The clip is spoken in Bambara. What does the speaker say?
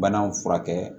Banaw furakɛ